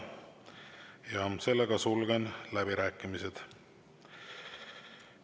Rohkem kõnesoove ei ole, sulgen läbirääkimised.